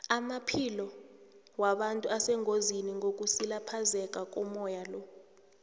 amaphilo wabantu asengozini ngokusilaphazeka komoya lo